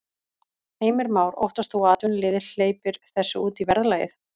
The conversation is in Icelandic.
Heimir Már: Óttast þú að atvinnulífið hleypir þessu út í verðlagið?